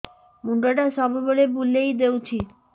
ମୁଣ୍ଡଟା ସବୁବେଳେ ବୁଲେଇ ଦଉଛି